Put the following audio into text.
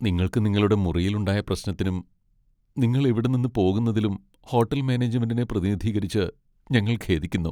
നിങ്ങൾക്ക്‌ നിങ്ങളുടെ മുറിയിൽ ഉണ്ടായ പ്രശ്നത്തിനും, നിങ്ങൾ ഇവിടെ നിന്ന് പോകുന്നതിലും ഹോട്ടൽ മാനേജ്മെന്റിനെ പ്രതിനിധീകരിച്ച്, ഞങ്ങൾ ഖേദിക്കുന്നു.